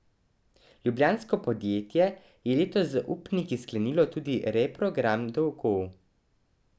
Ljubljansko podjetje je letos z upniki sklenilo tudi reprogram dolgov.